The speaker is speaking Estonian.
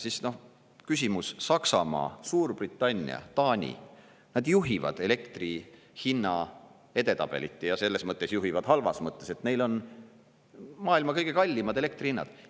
Siis, noh, küsimus – Saksamaa, Suurbritannia, Taani, nad juhivad elektri hinna edetabelit, ja selles mõttes juhivad halvas mõttes, et neil on maailma kõige kallimad elektri hinnad.